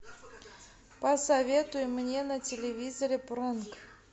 посоветуй мне на телевизоре пронк